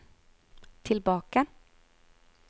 tilbake